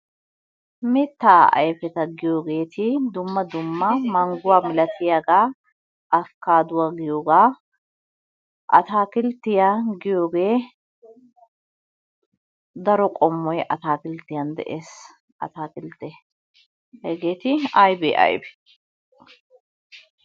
Mittaa ayfeta giyogeeti dumma dumma mangguwa milatiyagaa, abikaaduwa giyogaa. Ataakilttiya giyogee daro qommoy ataakilttiyan de'ees ataakilttee, hegeeti aybee aybee?